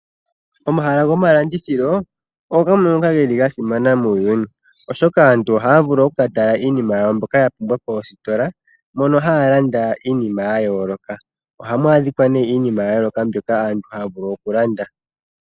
Omahala gomalandithilo ogo gamwe ngoka ga simana muuyuuni, oshoka aantu ohaya vulu okuka tala iinima yawo mbyoka ya pumbwa koostola moka haya landa iinima ya yooloka. Ohamu adhikwa nee iinima ya yooloka mbyoka aantu haya vulu oku landa.